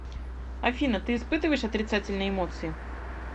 афина ты испытываешь отрицательные эмоции